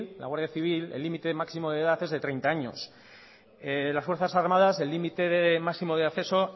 la guardia civil el límite máximo de edad es de treinta años las fuerzas armadas el límite máximo de acceso